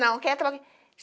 Não